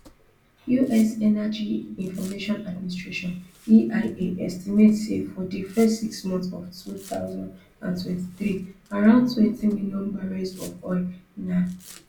us energy information administration eia estimate say for di first six months of two thousand and twenty-three around twenty million barrels of oil na